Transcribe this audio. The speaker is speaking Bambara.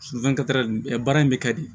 baara in bɛ kɛ de